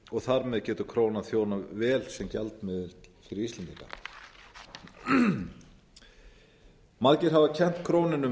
og þar með getur krónan þjónað vel sem gjaldmiðill fyrir íslendinga margir hafa kennt krónunni um